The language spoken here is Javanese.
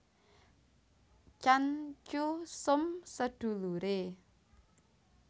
Tjan Tjoe Som seduluré